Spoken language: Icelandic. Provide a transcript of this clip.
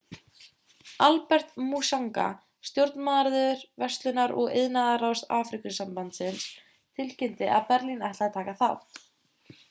albert muchanga stjórnarmaður verslunar og iðnaðarráðs afríkusambandsins tilkynnti að benín ætlaði að taka þátt